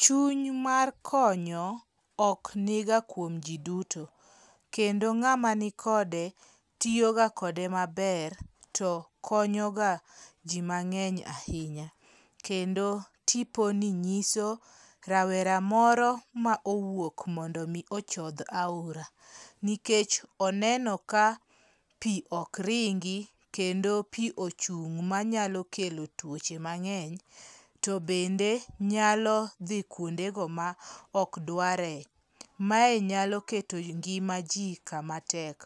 Chuny mar konyo ok niga kuom jii duto kendo ng'ama ni kode tiyo ga kode maber to konyoga jii mang'eny ahinya. Kendo tiponi nyiso rawera moro ma owuok mondo mi ochodh aora nikech oneno ka pii ok ringi kendo pii ochung' manyalo kelo tuoche mang'eny to bende, nyalo dhi kuonde go ma ok dware . Mae nyalo keto ngima jii kama tek